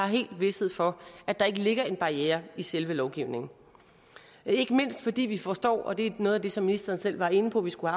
helt har vished for at der ikke ligger en barriere i selve lovgivningen ikke mindst fordi vi forstår og det er noget af det som ministeren selv var inde på vi skulle